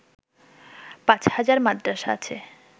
পাঁচ হাজার মাদ্রাসা আছে